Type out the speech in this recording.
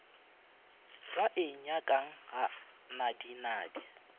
be a nyakang ga nadinadi